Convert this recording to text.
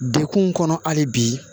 Dekun kɔnɔ hali bi